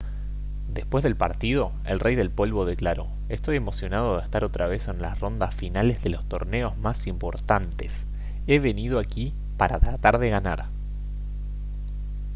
después del partido el rey del polvo declaró: «estoy emocionado de estar otra vez en las rondas finales de los torneos más importantes. he venido aquí para tratar de ganar»